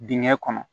Dingɛ kɔnɔ